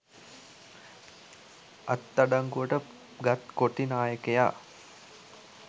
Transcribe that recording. අත්අඩංගුවට ගත් කොටි නායකයා